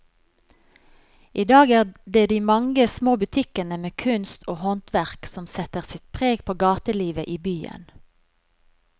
I dag er det de mange små butikkene med kunst og håndverk som setter sitt preg på gatelivet i byen.